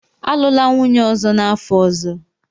Alụla nwunye ọzọ n'afọ ọzọ!